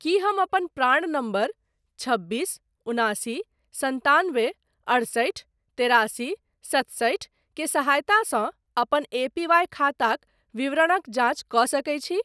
की हम अपन प्राण नम्बर छब्बीस उनासी सन्तानबे अठसठि तेरासी सतसठि के सहायतासँ अपन एपीवाय खाताक विवरणक जाँच कऽ सकैत छी ?